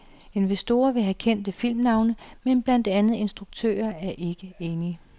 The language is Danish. Investorer vil have kendte filmnavne, men blandt andet instruktører er ikke enige.